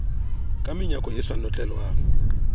ka menyako e sa notlelwang